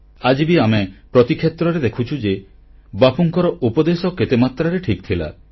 ଆଜି ବି ଆମେ ପ୍ରତି କ୍ଷେତ୍ରରେ ଦେଖୁଛୁ ଯେ ବାପୁଙ୍କର ଉପଦେଶ କେତେ ମାତ୍ରାରେ ଠିକ ଥିଲା